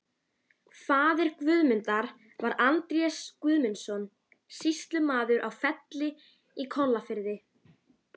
Eigum við að labba saman upp á tún? spurði hann.